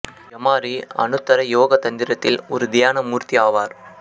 யமாரி அனுத்தர யோக தந்திரத்தில் ஒரு தியான மூர்த்தி ஆவார்